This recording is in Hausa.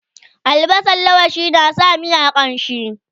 albasan laushi na sa miya ƙamshi